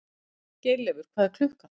Geirleifur, hvað er klukkan?